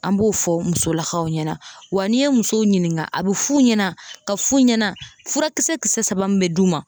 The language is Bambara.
An b'o fɔ musolakaw ɲɛna, wa n'i ye musow ɲininka, a bɛ f'u ɲɛna k'a f'u ɲɛna furakisɛ kisɛ saba min bɛ d'u ma.